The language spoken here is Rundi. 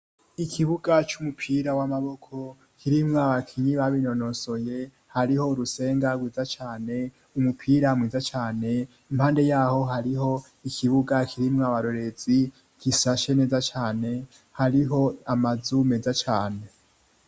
Ikibuga c'umupira w'amaboko kirimwa bakinyi babinonosoye hariho urusenga giza cyane umupira mwiza cane impande yaho hariho ikibuga kirimwa barorezi kisashe neza cane hariho amazu meza cane.